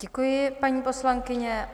Děkuji, paní poslankyně.